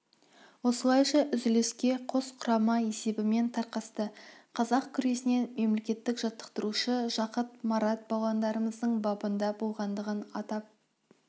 осылайша үзіліске қос құрама есебімен тарқасты қазақ күресінен мемлекеттік жаттықтырушы жақыт марат балуандарымыздың бабында болғандығын атап